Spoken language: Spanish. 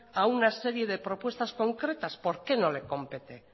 a una serie de propuestas concretas por qué no le compete